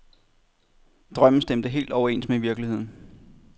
Drømmen stemte helt overens med virkeligheden.